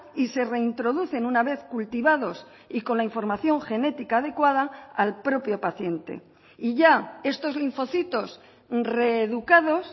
y se reintroducen una vez cultivados y con la información genética adecuada al propio paciente y ya estos linfocitos reeducados